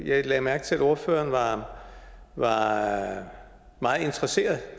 jeg lagde mærke til at ordføreren var meget interesseret